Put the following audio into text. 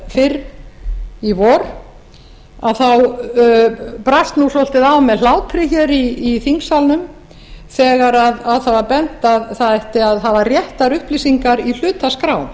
fyrr í vor að þá brast svolítið á með hlátri hér í þingsalnum þegar á það var bent að það ætti að hafa réttar upplýsingar í hlutaskrá